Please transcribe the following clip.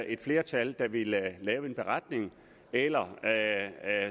et flertal der ville lave en beretning eller